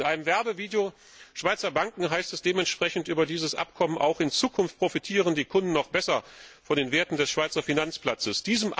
In einem Werbevideo von Schweizer Banken heißt es dementsprechend über dieses Abkommen Auch in Zukunft profitieren die Kunden noch besser von den Werten des Schweizer Finanzplatzes.